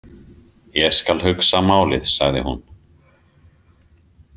Ég skal hugsa málið, sagði hún.